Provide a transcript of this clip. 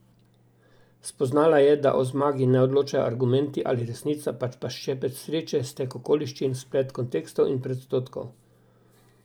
Spoznala je, da o zmagi ne odločajo argumenti ali resnica, pač pa ščepec sreče, stek okoliščin, splet kontekstov in predsodkov.